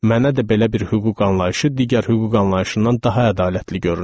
Mənə də belə bir hüquq anlayışı digər hüquq anlayışından daha ədalətli görünür.